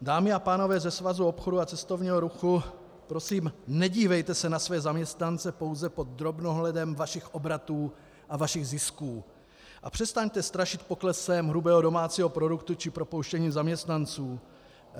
Dámy a pánové ze Svazu obchodu a cestovního ruchu, prosím, nedívejte se na své zaměstnance pouze pod drobnohledem vašich obratů a vašich zisků a přestaňte strašit poklesem hrubého domácího produktu či propouštěním zaměstnanců.